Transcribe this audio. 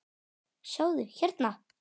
sjáðu, hérna.